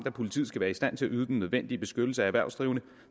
at politiet skal være i stand til at yde den nødvendige beskyttelse af erhvervsdrivende